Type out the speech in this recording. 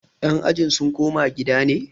yan ajin sun koma gida ne?